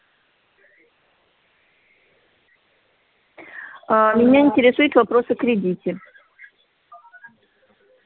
а меня интересует вопрос о кредите